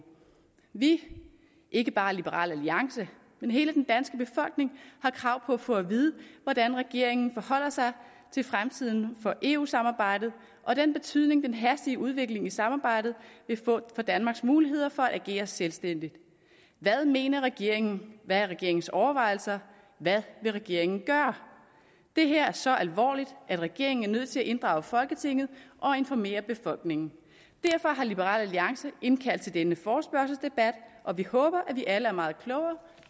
vi ikke bare liberal alliance men hele den danske befolkning har krav på at få at vide hvordan regeringen forholder sig til fremtiden for eu samarbejdet og den betydning den hastige udvikling i samarbejdet vil få for danmarks muligheder for at agere selvstændigt hvad mener regeringen hvad er regeringens overvejelser hvad vil regeringen gøre det her er så alvorligt at regeringen er nødt til at inddrage folketinget og informere befolkningen derfor har liberal alliance indkaldt til denne forespørgselsdebat og vi håber at vi alle er meget klogere